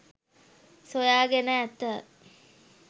සොයා ගෙන ඇත